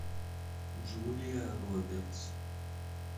джулия робертс